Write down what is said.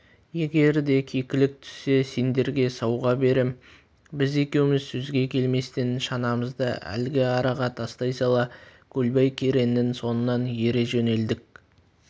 егер де кекілік түссе сендерге сауға берем біз екеуміз сөзге келместен шанамызды әлгі араға тастай сала көлбай кереңнің соңынан ере жөнелдік